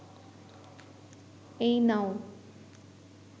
এই নাও